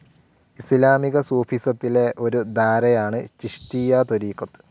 ഇസ്ലാമിക സൂഫിസത്തിലെ ഒരു ധാരയാണ് ചിഷ്തിയ്യ ത്വരീഖത്.